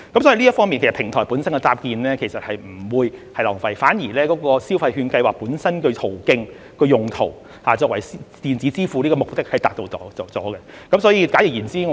所以，平台本身的搭建其實是不會浪費的，反而就消費券計劃本身的發放途徑和用途而言，鼓勵使用電子支付的目的已經達到。